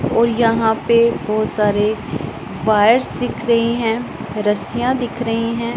और यहां पे बहुत सारे वायर्स दिख रही हैं रस्सियां दिख रही हैं।